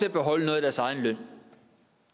at beholde noget af deres egen løn